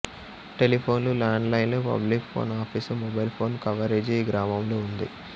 టెలిఫోన్లు land లైన్లు public phone office mobile phone coverage ఈ గ్రామంలో ఉంది